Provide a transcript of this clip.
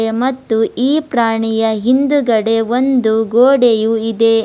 ಮತ್ತು ಈ ಪ್ರಾಣಿಯ ಹಿಂದುಗಡೆ ಒಂದು ಗೋಡೆಯು ಇದೆ.